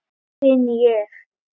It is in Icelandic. styn ég.